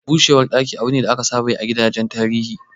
Busar ɗaki abu ne da aka saba yi a gidajen tarihi.